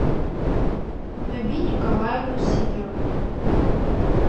наби николаевну сидорову